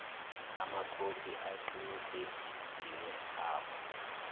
amakhophi aqinisekisiwe abo